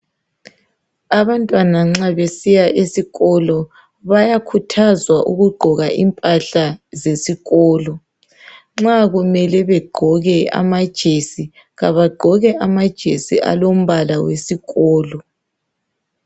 Abantwana nxa besiya esikolo bayakhuthazwa ukugqoka impahla zesikolo. Nxa kumele begqoke amajesi, kabagqoke amajesi alombala wesikolo.